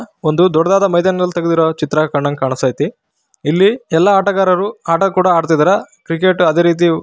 ಒಂದು ದೊಡ್ಡದಾದ ಮೈದಾನದಲ್ಲಿ ತೆಗೆದಿರುವ ಚಿತ್ರ ಕಂಡಂಗೆ ಕಾಣಸ್ತೈತಿ ಇಲ್ಲಿ ಎಲ್ಲಾ ಆಟಗಾರರು ಆಟ ಕೂಡ ಆಡ್ತಿದ್ದಾರೆ ಕ್ರಿಕೆಟ್ ಅದೇ ರೀತಿ --